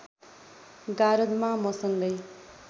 गारदमा मसँगै